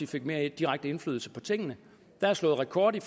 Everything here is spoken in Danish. fik mere direkte indflydelse på tingene der er slået rekord i